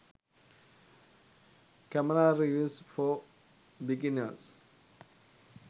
camera reviews for beginners